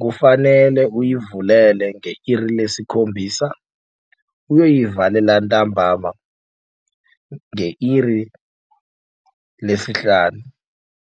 Kufanele uyivulele nge-iri lesikhombisa uyoyivalela entambama nge-iri lesihlanu.